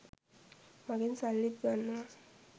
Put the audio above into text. මගෙන් සල්ලිත් ගන්නවා.